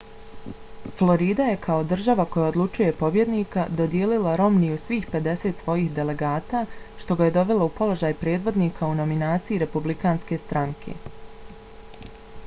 florida je kao država koja odlučuje pobjednika dodijelila romneyu svih pedeset svojih delegata što ga je dovelo u položaj predvodnika u nominaciji republikanske stranke